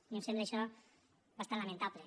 a mi em sembla això bastant lamentable